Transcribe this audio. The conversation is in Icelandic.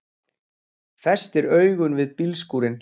Festir augun við bílskúrinn.